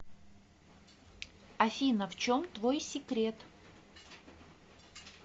афина в чем твой секрет